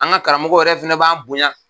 An ka karamɔgɔw yɛrɛ fana b'an bonya.